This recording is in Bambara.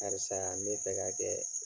Karisa ne bɛ fɛ ka kɛ